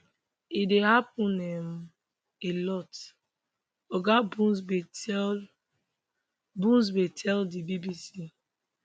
e dey happun um a lot oga buzbee tell buzbee tell di bbc